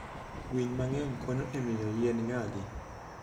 Winy mang'eny konyo e miyo yien nyagi.